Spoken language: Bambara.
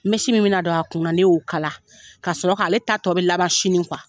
min bɛna na don a kun na ne y'o kala. Ka sɔrɔ k'ale ta tɔ bɛ laban sini